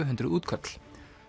hundruð útköll